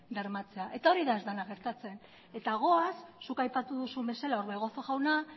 bermatzea eta hori da ez dena gertatzen eta goaz zuk aipatu duzu bezala orbegozo jauna